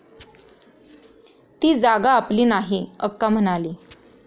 ती जागा आपली नाही, अक्का म्हणाली.